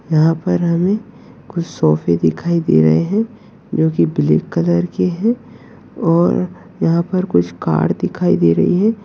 यहाँ पर हमें कुछ सोफ़े दिखाई दे रहे है जो की ब्लैक कलर के है और यहाँ पर कुछ कर दिखाई दे रही है।